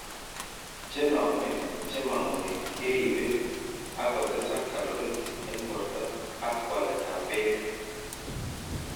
Chename che ma ngoy keriibe ak kotesak caloric en borto ak welelletab beek.